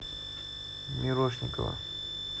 мирошникова